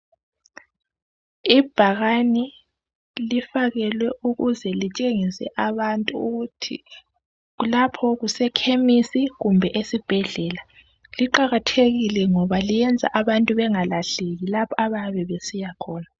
Ibhakane lifakelwe ukuze litshengise abantu ukuthi kulapho kusekhemisi kumbe ezibhedlela liqakathekile ngoba liyenza abantu bangalahleki lapha ebabesiyakhona